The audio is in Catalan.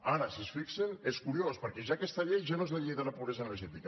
ara si s’hi fixen és curiós perquè ja aquesta llei ja no és la llei de la pobresa energètica